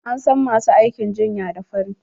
An san masu aikin jinya da fari.